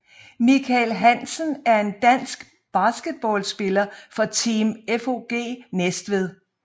Mikael Hansen er en dansk basketballspiller fra Team FOG Næstved